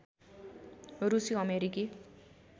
रुसी अमेरिकी